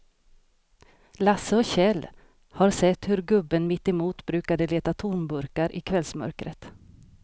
Lasse och Kjell har sett hur gubben mittemot brukar leta tomburkar i kvällsmörkret.